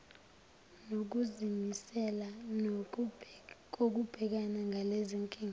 nokuzimisela kokubhekana nalezinkinga